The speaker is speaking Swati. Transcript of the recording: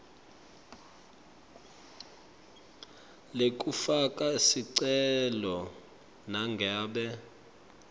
lekufaka sicelo nangabe